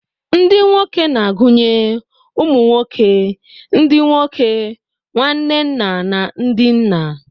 Ndị nwoke na-agụnye ụmụ nwoke, ndị nwoke, nwanne nna, na ndị nna.